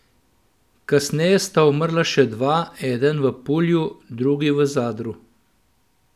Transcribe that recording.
Kasneje sta umrla še dva, eden v Pulju, drugi v Zadru.